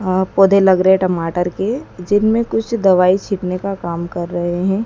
और पौधे लग रहे टमाटर के जिनमें कुछ दवाई छिपने का काम कर रहे हैं।